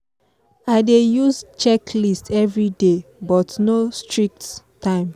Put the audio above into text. i dey use checklist everyday but no strict time